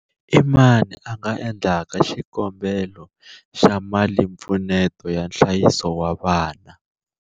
I mani a nga endlaka xikombelo xa malimpfuneto ya nhlayiso wa vana?